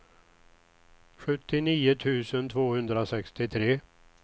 sjuttionio tusen tvåhundrasextiotre